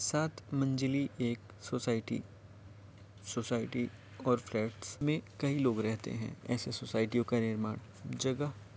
सात मंजलि एक सोसायटि सोसायटि और फ्लैट में काई लोग रहते हैं ऐसी सोसायटियों का निर्माण जगह --